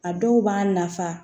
A dɔw b'a nafa